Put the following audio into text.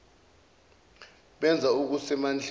benza okuse mandleni